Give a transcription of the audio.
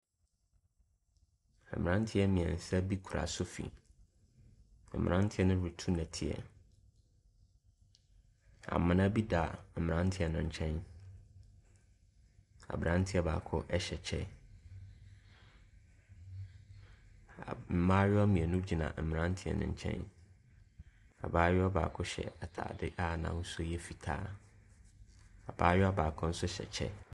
Mmranteɛ mmiɛnsa bi kura sofi. Mmranteɛ no retu nnɔteɛ. Amuna bi da mmranteɛ no ɛnkyɛn. Abranteɛ baako ɛhyɛ kyɛ. Mmaayiwa mmienu gyina mmranteɛ no ɛnkyɛn. Abaayewa baako hyɛ ataade a n'ahosuo yɛ fitaa. Abaayewa baako nso hyɛ kyɛ.